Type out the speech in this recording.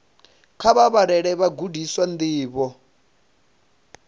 kha vha vhalele vhagudiswa ndivho